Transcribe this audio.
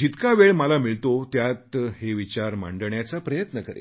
जितका वेळ मला मिळतो त्यात हे विचार मांडण्याचा प्रयत्न करेन